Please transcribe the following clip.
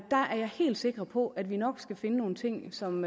er helt sikker på at vi nok skal finde nogle ting som